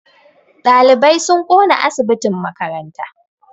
Ɗalibai sun ƙona asibitin makaranta